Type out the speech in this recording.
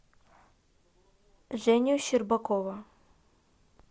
женю щербакова